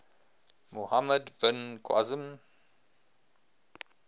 muhammad bin qasim